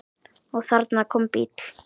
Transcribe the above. Og þarna kom bíll.